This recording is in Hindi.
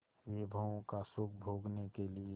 विभवों का सुख भोगने के लिए